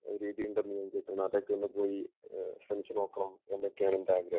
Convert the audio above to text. രീതി ഉണ്ടെന്ന് ഞാൻ കേട്ടിരുന്നു അതൊക്കെ ഒന്നു പോയി ശ്രമിച്ചുനോക്കണം എന്നൊക്കെയാണ് എന്റെ ആഗ്രഹം